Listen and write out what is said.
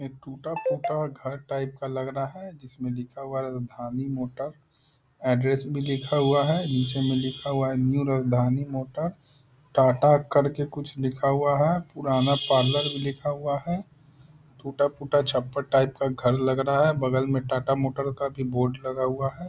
एक टुटा-फुटा घर टाइप का लग रहा है जिसमें लिखा हुआ है धानी मोटर एड्रेस भी लिखा हुआ है नीचे में लिखा हुआ है न्यू धानी मोटर टाटा करके कुछ लिखा हुआ है पुराना पार्लर भी लिखा हुआ है टुटा-फुटा छप्पर टाइप का घर लग रहा है बगल में टाटा मोटर का भी बोर्ड लगा हुआ है।